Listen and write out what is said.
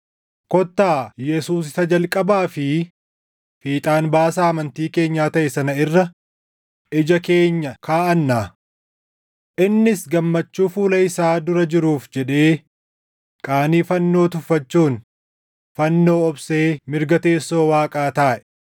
kottaa Yesuus isa jalqabaa fi fiixaan baasaa amantii keenyaa taʼe sana irra ija keenya kaaʼannaa. Innis gammachuu fuula isaa dura jiruuf jedhee qaanii fannoo tuffachuun fannoo obsee mirga teessoo Waaqaa taaʼe.